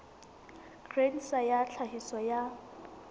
grain sa ya tlhahiso ya